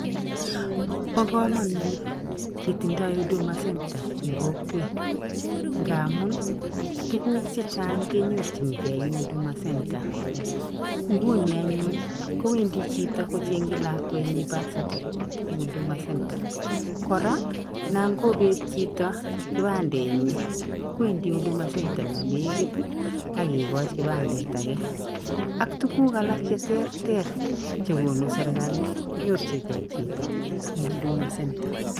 Bo komanut ketindoi huduma center eng kokwet, nga amun tuguk chechang kenyorchninkei eng huduma center nguni anyun koendi chito kocheng'chi lakwenyi birth certificate eng' huduma center Kora, nangobet chito kibandenyi koendi huduma center nenekit akekoch kibandet ake, ak tuguk alak cheterter chekonu serikali konyorchigei chito eng huduma center